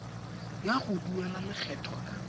ya go duela lekgetho ka